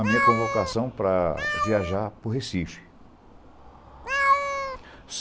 a minha convocação para viajar para o Recife.